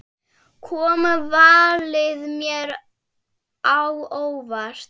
Kom valið mér á óvart?